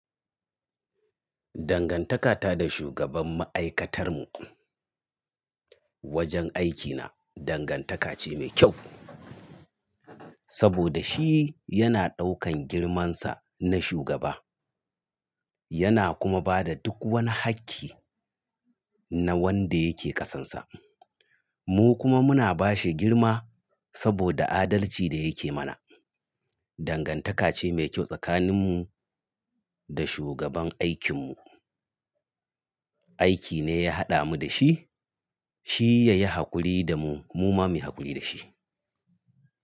Dangantaka ta da shugaban ma'aikatar mu wajen aikina, dangantaka ce mai kyau. Saboda shi yana ɗaukan girmansa na shugaba yana kuma bada duk wani hakki na wanda yake ƙasansa. Mu kuma muna bashi girma saboda adalci da yake mana. Dangantaka ce mai kyau tsakanin mu da shugaban aikin mu. Aiki ne ya haɗa mu da shi, shi yayi haƙuri da mu mu kuma muyi haƙuri da shi.